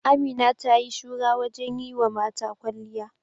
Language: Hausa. Amina ta yi shura wajen yi wa mata kwalliya.